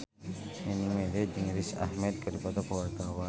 Nining Meida jeung Riz Ahmed keur dipoto ku wartawan